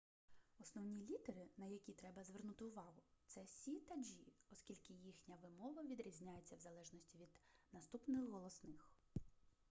основні літери на які треба звернути увагу це с та g оскільки їхня вимова відрізняється в залежності від наступних голосних